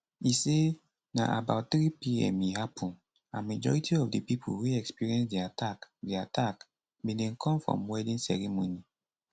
e say na about 3pm e happun and majority of di pipo wey experience di attack di attack bin dey come from wedding ceremony